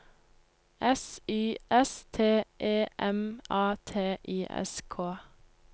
S Y S T E M A T I S K